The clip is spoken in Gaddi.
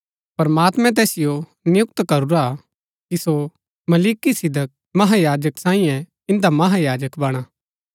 प्रमात्मैं तैसिओ नियुक्त करूरा हा कि सो मलिकिसिदक महायाजक सांईयै इन्दा महायाजक बणा